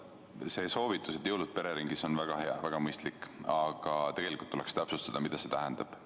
See soovitus, et jõulud veeta pereringis, on väga hea, väga mõistlik, aga tegelikult tuleks täpsustada, mida see tähendab.